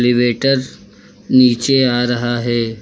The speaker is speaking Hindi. रिवेटर नीचे आ रहा है।